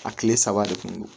A kile saba de kun don